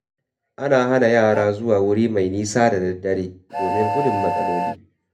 Ana hana yara zuwa wuri mai nisa da daddare domin gudun matsaloli.